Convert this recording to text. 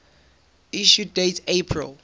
issue date april